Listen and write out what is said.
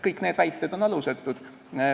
Kõik need väited on alusetud.